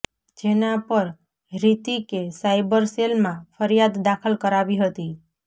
જેના પર હિૃતિકે સાઇબર સેલમાં ફરિયાદ દાખલ કરાવી હતી